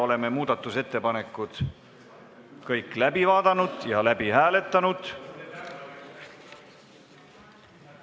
Oleme kõik muudatusettepanekud läbi vaadanud ja läbi hääletanud.